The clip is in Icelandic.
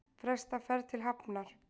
Fresta ferð til Hafnar